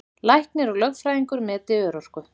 Læknir og lögfræðingur meti örorku